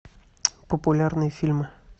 популярные фильмы